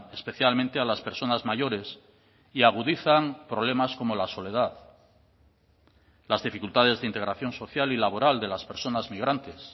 especialmente a las personas mayores y agudizan problemas como la soledad las dificultades de integración social y laboral de las personas migrantes